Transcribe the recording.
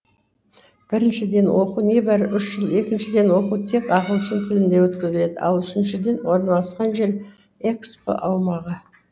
біріншіден оқу небәрі үш жыл екіншіден оқу тек ағылшын тілінде өткізіледі ал үшіншіден орналасқан жері экспо аумағы